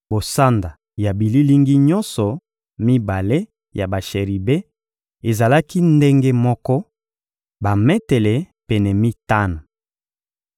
Bosanda ya bililingi nyonso mibale ya basheribe ezalaki ndenge moko: bametele pene mitano.